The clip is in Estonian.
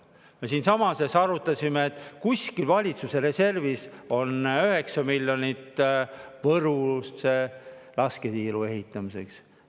Me siinsamas arutasime, et kuskil valitsuse reservis on 9 miljonit Võru lasketiiru ehitamiseks.